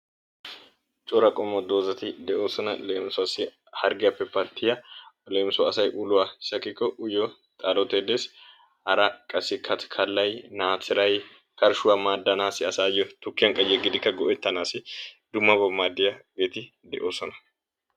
cora qommo dozzati de'oososna uluwa pattiya leemisuwassi xalotee katikallay qassi karshuwea maadanawu asaassi tukiyan yeganawu maadiya dumma dumma bati de'oososna.